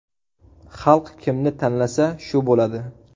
Xalq kimni tanlasa, shu bo‘ladi.